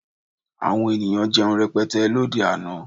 Àwọn ènìyàn jẹun rẹpẹtẹ lóde àná